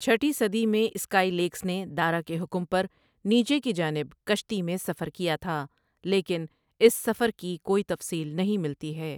چھٹی صدی میں اسکائی لیکس نے دارا کے حکم پر نیچے کی جانب کشتی میں سفر کیا تھا لیکن اس سٖفر کی کوئی تفصیل نہیں ملتی ہے ۔